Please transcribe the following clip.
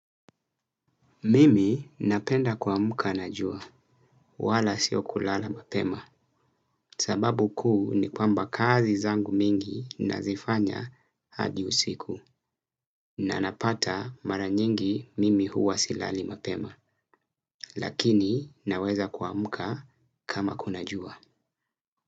Mimi napenda kuamuka na jua, wala sio kulala mapema, sababu kuu ni kwamba kazi zangu mingi nazifanya hadi usiku. Na napata mara nyingi mimi huwa silali mapema, lakini naweza kuamuka kama kuna jua.